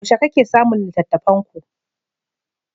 Yaushe kake samun littattafanku?